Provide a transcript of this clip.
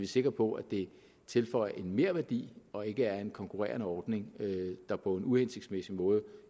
sikre på at det tilføjer en merværdi og ikke er en konkurrerende ordning der på en uhensigtsmæssig måde